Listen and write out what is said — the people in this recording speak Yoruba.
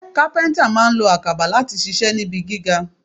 Kápẹ́ńtà máa lo àkàbà láti ṣiṣẹ́ níbi gíga.